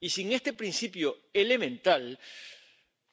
Y, sin este principio elemental,